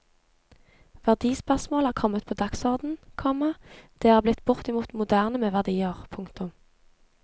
Verdispørsmål er kommet på dagsorden, komma det er blitt bortimot moderne med verdier. punktum